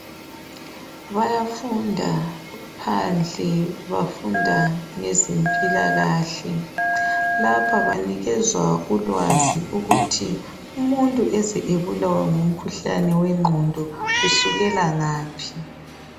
Bayafunda bephandle bafunda ngezempilakahle lapha benikezwa ulwazi ukuthi umuntu eze ebulawe ngumkhuhlane wengqondo kusukela ngaphi